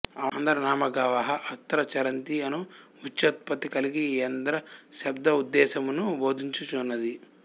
అంధా నామ గావః అత్ర చరంతి అను వ్యుత్పత్తి కలిగి ఈ యంధ్ర శబ్దముద్ధేశ్యమును బోధించు చున్నది